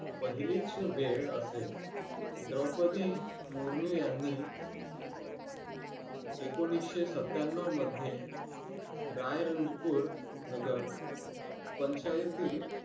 पहिलीच वेळ असेल द्रौपदी मुर्मू यांनी एकोणीशे सत्त्याण्णव मध्ये रायरंजपुर नगर पंचायतील